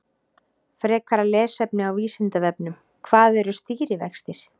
Frekara lesefni á Vísindavefnum: Hvað eru stýrivextir?